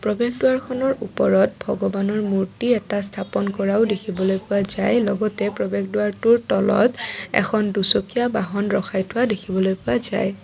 প্ৰৱেশদ্বাৰখনৰ ওপৰত ভগৱানৰ মূৰ্তি এটা স্থাপন কৰাও দেখিবলৈ পোৱা যায় লগতে প্ৰৱেশদ্বাৰটোৰ তলত এখন দুচকীয়া বাহন ৰখাই থোৱা দেখিবলৈ পোৱা যায়।